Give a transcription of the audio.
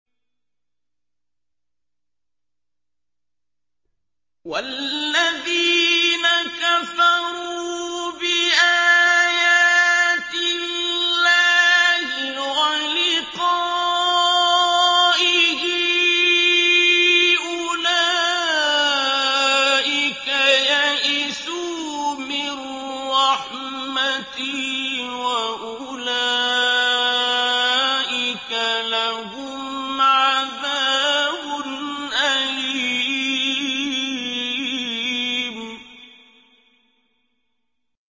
وَالَّذِينَ كَفَرُوا بِآيَاتِ اللَّهِ وَلِقَائِهِ أُولَٰئِكَ يَئِسُوا مِن رَّحْمَتِي وَأُولَٰئِكَ لَهُمْ عَذَابٌ أَلِيمٌ